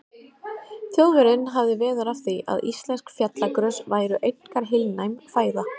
Þjóðverjinn hafði veður af því, að íslensk fjallagrös væru einkar heilnæm fæða.